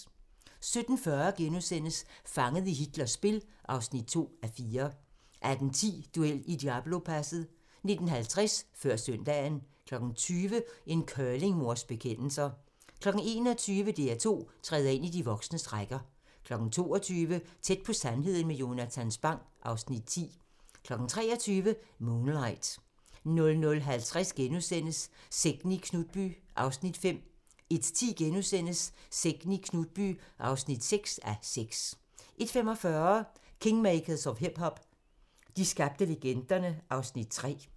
17:40: Fanget i Hitlers spil (2:4)* 18:10: Duel i Diablopasset 19:50: Før søndagen 20:00: En curlingmors bekendelser 21:00: DR2 træder ind i de voksnes rækker 22:00: Tæt på sandheden med Jonatan Spang (Afs. 10) 23:00: Moonlight 00:50: Sekten i Knutby (5:6)* 01:10: Sekten i Knutby (6:6)* 01:45: Kingmakers of hip-hop - de skabte legenderne (Afs. 3)